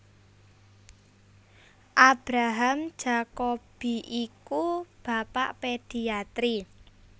Abraham Jacobi iku bapak pediatri